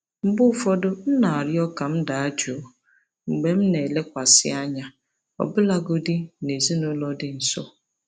Mgbe ụfọdụ, m na-arịọ ka m daa jụụ mgbe m na-elekwasị anya, ọbụlagodi na ezinaụlọ dị nso.